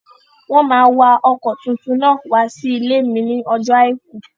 Wọ́n máa wa ọkọ̀ tuntun náà wá sí ilé mi ní ọjọ́ àìkú